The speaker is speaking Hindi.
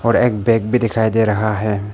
और एक बैग भी दिखाई दे रहा है।